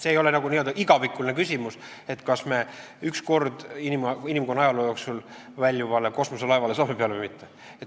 See ei ole selline igavikuline küsimus, et kas me üks kord inimkonna ajaloo jooksul väljuvale kosmoselaevale saame peale või mitte.